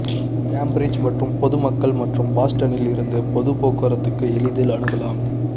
Cambridge மற்றும் பொதுமக்கள் மற்றும் பாஸ்டனில் இருந்து பொது போக்குவரத்துக்கு எளிதில் அணுகலாம்